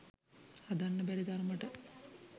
හදන්න බැරි තරමට